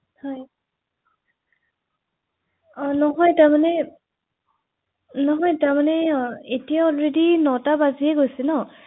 সেই এডৰেচত তেখেতসকল উপস্হিত হবগৈ ৷ আপুনি হয়তো ভাবিছে, হয় কওঁক হয় জনাওঁক ৷